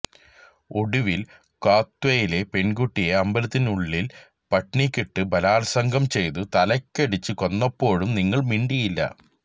ഒടുവില് കത്വയിലെ പെണ്കുട്ടിയെ അമ്പലത്തിനുള്ളില് പട്ടിണിക്കിട്ടു ബലാല്സംഗം ചെയ്തു തലയ്ക്കടിച്ചു കൊന്നപ്പോഴും നിങ്ങള് മിണ്ടിയില്ല